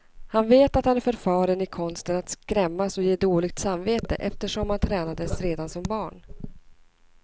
Han vet att han är förfaren i konsten att skrämmas och ge dåligt samvete, eftersom han tränades redan som barn.